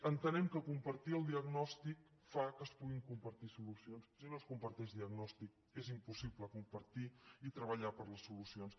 entenem que compartir el diagnòstic fa que es puguin compartir solucions si no es comparteix diagnòstic és impossible compartir i treballar per les solucions